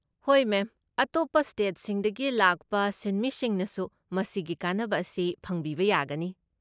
ꯍꯣꯏ ꯃꯦꯝ, ꯑꯇꯣꯞꯄ ꯁ꯭ꯇꯦꯠꯁꯤꯡꯗꯒꯤ ꯂꯥꯛꯄ ꯁꯤꯟꯃꯤꯁꯤꯡꯅꯁꯨ ꯃꯁꯤꯒꯤ ꯀꯥꯟꯅꯕ ꯑꯁꯤ ꯐꯪꯕꯤꯕ ꯌꯥꯒꯅꯤ꯫